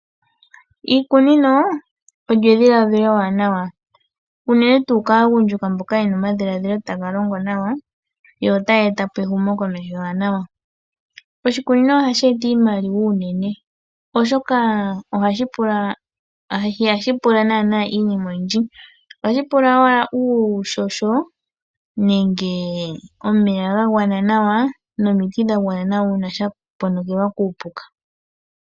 Iikunino olyo edhiladhilo ewanawa unene tuu kaagundjuka mboka ye na omadhiladhilo taga longo nawa yo otaya eta po ehumokomeho ewanawa. Oshikunino ohashi eta iimaliwa unene oshoka ihashi pula naana iinima oyindji ohashi pula owala uuhoho nenge omeya ga gwana nawa nomiti dha gwana nawa uuna shaponokelwa kuupuka.